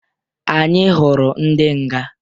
Anyi hụrụ ndị nga.